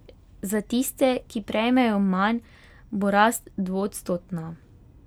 Za tiste, ki prejmejo manj, bo rast dvoodstotna.